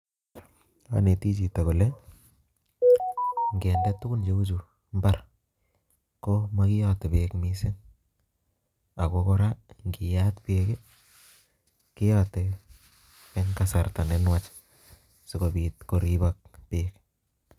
Anetii chito kole ineteteet tuguun cheu Chu en imbaar, komokiyoote bereisit, ako kora ingiyaat beek keyote en kasarta nenwach, sikoobiit koribook beek